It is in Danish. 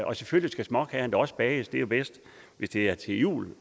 og selvfølgelig skal småkagerne da også bages det er bedst hvis det er til jul